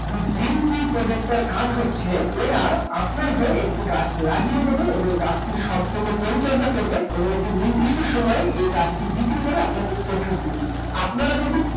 The green tree project টার কাজ হচ্ছে, এরা আপনার হয়ে একটি গাছ লাগিয়ে দেবে এবং গাছটি সম্পূর্ণ পরিচর্চা করবে এবং একটি নির্দিষ্ট সময়ে এ গাছটি বিক্রি করে আপনাকে profit দিয়ে দেবে। আপনারা যদি